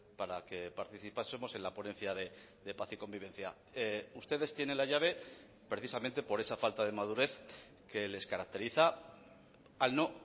para que participásemos en la ponencia de paz y convivencia ustedes tienen la llave precisamente por esa falta de madurez que les caracteriza al no